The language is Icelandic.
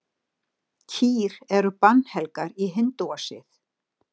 Kýr eru bannhelgar í hindúasið.